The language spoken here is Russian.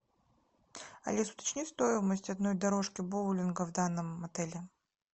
алис уточни стоимость одной дорожки боулинга в данном отеле